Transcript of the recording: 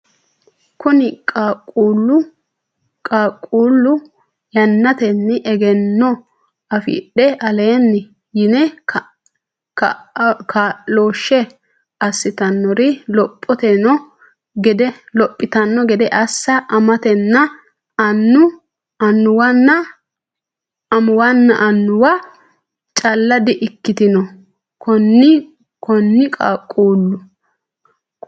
Konni Qaaqquullu yannatenni egenno afidhe aleenni yini kaa looshshe assitannori lophitanno gede assa amatenna annu amuwanna annuwa calla di ikkitino Konni Qaaqquullu.